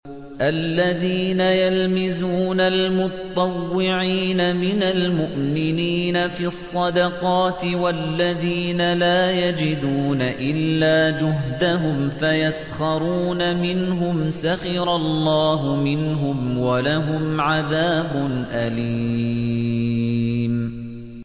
الَّذِينَ يَلْمِزُونَ الْمُطَّوِّعِينَ مِنَ الْمُؤْمِنِينَ فِي الصَّدَقَاتِ وَالَّذِينَ لَا يَجِدُونَ إِلَّا جُهْدَهُمْ فَيَسْخَرُونَ مِنْهُمْ ۙ سَخِرَ اللَّهُ مِنْهُمْ وَلَهُمْ عَذَابٌ أَلِيمٌ